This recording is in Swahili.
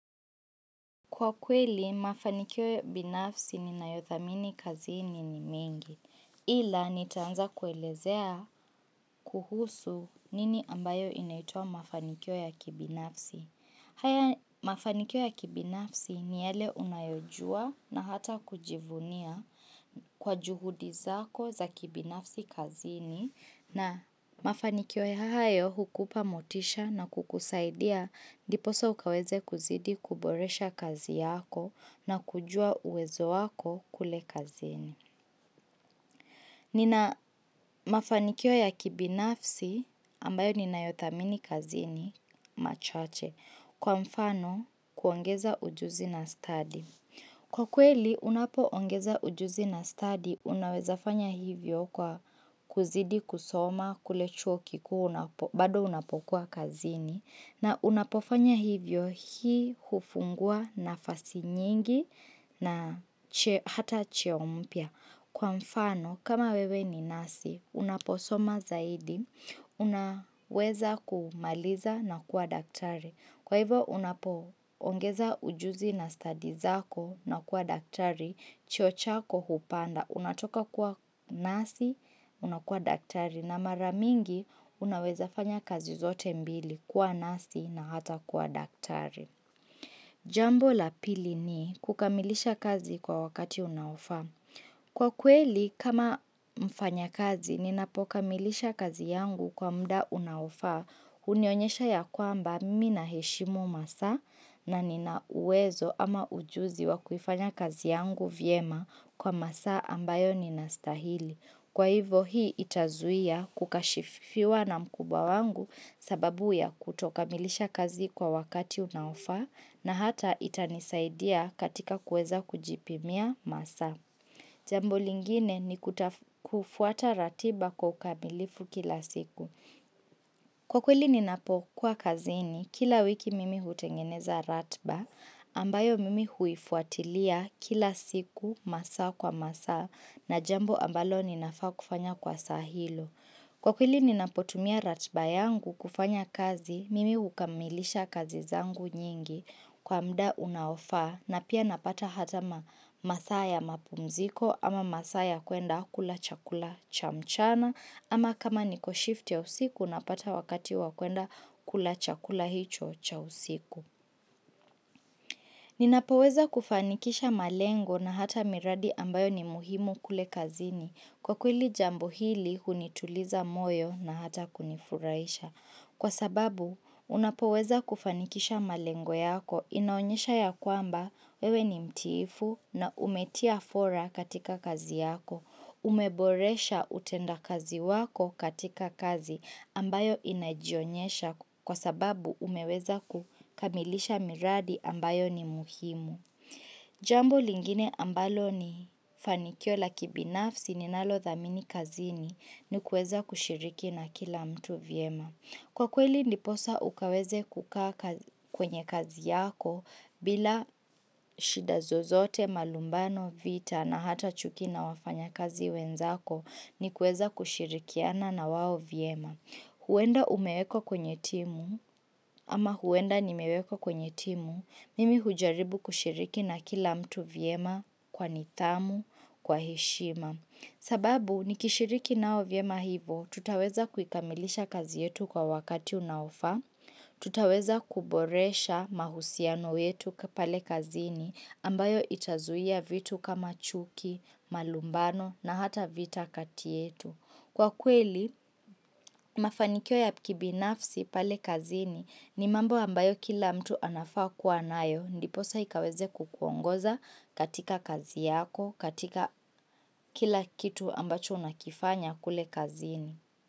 Kwa kweli, mafanikio ya kibinafsi ni nayothamini kazini ni mingi. Ila, nitaanza kuelezea kuhusu nini ambayo inaitwa mafanikio ya kibinafsi. Haya mafanikio ya kibinafsi ni yale unayojua na hata kujivunia kwa juhudi zako za kibinafsi kazini. Na mafanikio ya hayo hukupa motisha na kukusaidia ndiposa ukaweze kuzidi kuboresha kazi yako na kujua uwezo wako kule kazini. Nina mafanikio ya kibinafsi ambayo ninayothamini kazini machache kwa mfano kuongeza ujuzi na stadi. Kwa kweli, unapoongeza ujuzi na stadi, unaweza fanya hivyo kwa kuzidi kusoma, kule chuo kikuu bado unapokuwa kazini, na unapofanya hivyo hii hufungua nafasi nyingi na hata cheo mpya. Kwa mfano, kama wewe ni nasi, unaposoma zaidi, unaweza kumaliza na kuwa daktari. Kwa hivo, unapoongeza ujuzi na stadi zako na kuwa daktari, cheo chako hupanda, unatoka kuwa nasi, unakuwa daktari. Na mara mingi, unaweza fanya kazi zote mbili, kuwa nasi na hata kuwa daktari. Jambo la pili ni kukamilisha kazi kwa wakati unaofaa. Kwa kweli, kama mfanya kazi, ninapokamilisha kazi yangu kwa muda unaofaa, hunionyesha ya kwamba mimi naheshimu masaa na nina uwezo ama ujuzi wa kufanya kazi yangu vyema kwa masaa ambayo ninastahili. Kwa hivo hii itazuia kukashifiwa na mkubwa wangu sababu ya kutokamilisha kazi kwa wakati unaofaa na hata itanisaidia katika kueza kujipimia masaa. Jambo lingine ni kufuata ratiba kwa ukamilifu kila siku. Kwa kweli ninapokuwa kazini, kila wiki mimi hutengeneza ratiba, ambayo mimi huifuatilia kila siku masaa kwa masaa na jambo ambalo ninafaa kufanya kwa saa hilo. Kwa kweli ninapotumia ratiba yangu kufanya kazi, mimi hukamilisha kazi zangu nyingi kwa mda unaofaa na pia napata hata masaa ya mapumziko ama masaa ya kuenda kula chakula cha mchana ama kama niko shift ya usiku napata wakati wa kuenda kula chakula hicho cha usiku. Ninapoweza kufanikisha malengo na hata miradi ambayo ni muhimu kule kazini kwa kweli jambo hili hunituliza moyo na hata kunifurahisha. Kwa sababu, unapoweza kufanikisha malengo yako, inaonyesha ya kwamba wewe ni mtiifu na umetia fora katika kazi yako, umeboresha utenda kazi wako katika kazi ambayo inajionyesha kwa sababu umeweza kukamilisha miradi ambayo ni muhimu. Jambo lingine ambalo ni fanikio la kibinafsi ninalothamini kazini ni kueza kushiriki na kila mtu vyema. Kwa kweli ndiposa ukaweze kukaa kwenye kazi yako bila shida zozote malumbano vita na hata chuki na wafanya kazi wenzako ni kuweza kushirikiana na wao vyema huenda umewekwa kwenye timu ama huenda nimewekwa kwenye timu, mimi hujaribu kushiriki na kila mtu vyema kwa nidhamu, kwa heshima. Sababu, nikishiriki nao vyema hivo, tutaweza kuikamilisha kazi yetu kwa wakati unaofaa, tutaweza kuboresha mahusiano yetu kapale kazini ambayo itazuia vitu kama chuki, malumbano na hata vita kati yetu. Kwa kweli, mafanikio ya kibinafsi pale kazini ni mambo ambayo kila mtu anafaa kuwa nayo, ndiposa ikaweze kukuongoza katika kazi yako, katika kila kitu ambacho unakifanya kule kazini.